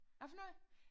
Hvad for noget